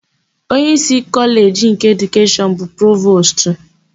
Onyeísí Kọleji nke Edukeshọn bụ Provostu.